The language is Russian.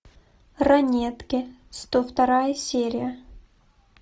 ранетки сто вторая серия